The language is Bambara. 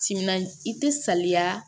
Timinan i tɛ saliya